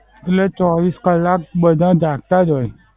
એટલે ચોવીસ કલાક બધા જાગતા જ હોય.